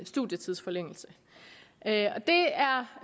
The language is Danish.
studietidsforlængelse det